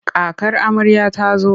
Kakar amarya ta zo.